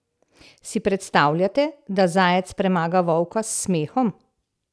Si predstavljate, da zajec premaga volka s smehom?